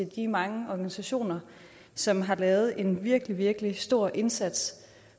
de mange organisationer som har lavet en virkelig virkelig stor indsats